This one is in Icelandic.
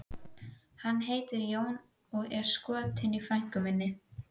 Hann heitir Jón og er skotinn í frænku minni, sagði